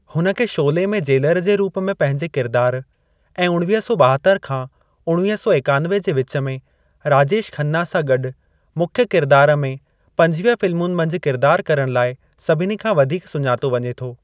हुन खे शोले में जेलर जे रूप में पंहिंजे किरिदार ऐं उणवीह सौ ॿाहत्तर खां उणवीह सौ एकानवे जे विच में राजेश खन्ना सां गॾु मुख्यु किरिदार में पंजविह फ़िल्मुनि मंझि किरिदार करण लाइ सभिनी खां वधीक सुञातो वञे थो।